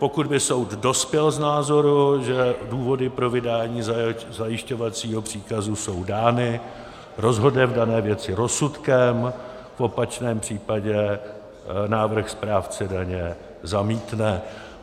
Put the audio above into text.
Pokud by soud dospěl k názoru, že důvody pro vydání zajišťovacího příkazu jsou dány, rozhodne v dané věci rozsudkem, v opačném případě návrh správce daně zamítne.